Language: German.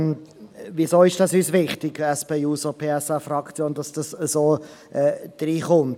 Weshalb ist uns, der SP-JUSO-PSA-Fraktion, so wichtig, dass das so hineinkommt?